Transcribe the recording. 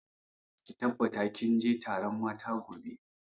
Ki tabbata kin je taron matan gobe!